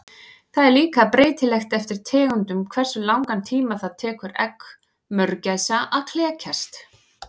Það er líka breytilegt eftir tegundum hversu langan tíma það tekur egg mörgæsa að klekjast.